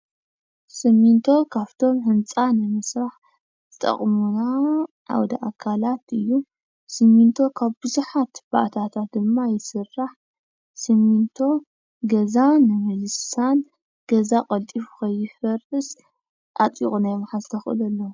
ስሚንቶ ካብቶም ህንፃ ንምስራሕ ዝጠቕሙና ዓውደ ኣካላት እዩ፡፡ ስሚንቶ ካብ ብዙሓት ባእታታት ድማ ይስራሕ፡፡ ስሚንቶ ገዛ ንምልሳን፣ ገዛ ቀልጢፉ ንኸይፈርስ ኣጥቢቑ ናይ ምትሓዝ ተኽእሎ ኣለዎ፡፡